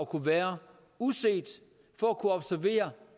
kunne være uset for at kunne observere